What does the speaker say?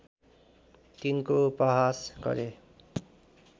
तिनको उपहास गरे